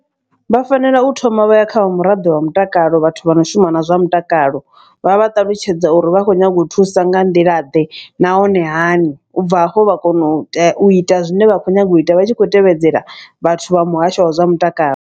Vha fanela u thoma vha ya kha vha muraḓo wa mutakalo vhathu vha no shuma na zwa mutakalo. Vha vha ṱalutshedza uri vha khou nyanga u thusa nga nḓila ḓe nahone hani. U bva hafho vha kono u u ita zwine vha khou nyanga u ita vha tshi khou tevhedzela vhathu vha muhasho wa zwa mutakalo.